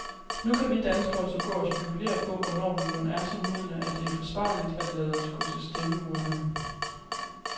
Nu kan vi danskere så gå og spekulere på, hvornår vi mon er så modne, at det er forsvarligt at lade os gå til stemmeurnerne.